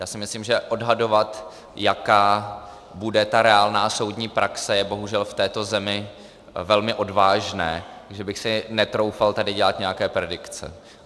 Já si myslím, že odhadovat, jaká bude ta reálná soudní praxe, je bohužel v této zemi velmi odvážné, že bych si netroufal tady dělat nějaké predikce.